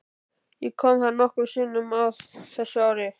Ég kom þar nokkrum sinnum á þessum árum.